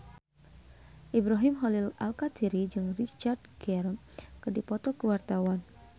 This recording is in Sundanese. Ibrahim Khalil Alkatiri jeung Richard Gere keur dipoto ku wartawan